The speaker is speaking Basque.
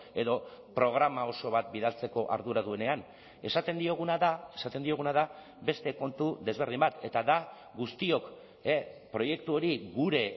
edo programa oso bat bidaltzeko ardura duenean esaten dioguna da esaten dioguna da beste kontu desberdin bat eta da guztiok proiektu hori gure